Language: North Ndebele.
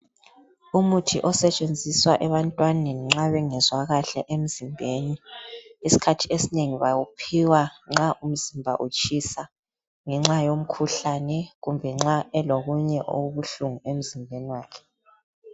Umuthi osetshenziswa ebantwaneni nxa ungezwa kahle emzimbeni isikhathi esinengi bawuphiwa nxa umzimba utshisa ngenxa yomkhuhlane kumbe nxa elokunye okubuhlungu emzimbeni wakhe.